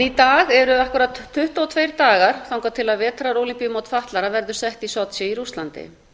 í dag eru akkúrat tuttugu og tveir dagar þangað til vetrarólympíumót fatlaðra verður sett í sochi í rússlandi